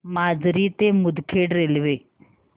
माजरी ते मुदखेड रेल्वे